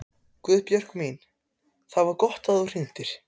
Guðbjörg mín, það var gott að þú hringdir.